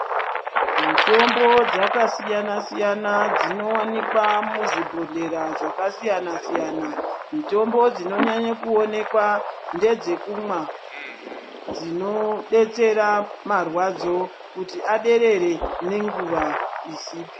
Mitombo dzakasiyana siyana dzinowanikwa muzvibhodhlera zvasiyana siyana mutombo dzinonyanye kuonekwa ndedzekumwa dsinodetsera marwadzo kuti aderere nenguwa izipi.